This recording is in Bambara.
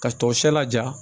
Ka tɔ siyɛ laja